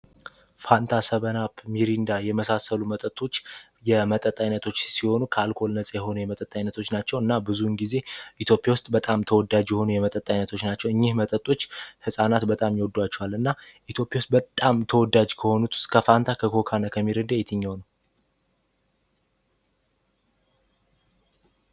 ፋንታ ሰበንአፕ ሚሪንዳ የመሳሰሉት መጠጦች የመጠጥ ዓይነቶች ሲሆኑ ከአልኮል ነጻ የሆኑ የመጠጥ ዓይነቶች ናቸው እና ብዙውን ጊዜ ኢቲዮጵያ ውስጥ በጣም ተወዳጅ የሆኑ የመጠጥ አይነቶች ናቸው እኝህ መጠጦች ሕፃናት በጣም ይወዷቸዋል እና ኢትዮጵያ ውስጥ በጣም ተወዳጅ ከሆኑት ውስጥ ከፋንታ ከኮካ እና ከሚሪንዳ የትኘው ነው?